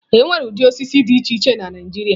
Enwere ụdị osisi dị iche iche na Naijiria.